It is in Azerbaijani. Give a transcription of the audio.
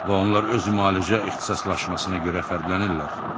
Və onlar öz müalicə ixtisaslaşmasına görə fərqlənirlər.